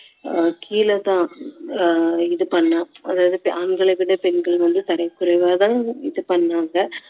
ஆஹ் கீழ தான் ஆஹ் இது பண்ணா ஆண்களை விட பெண்கள் வந்து தரக்குறைவா தான் இது பண்ணாங்க